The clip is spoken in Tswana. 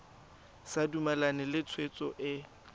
sa dumalane le tshwetso e